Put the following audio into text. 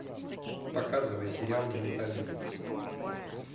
показывай сериал менталист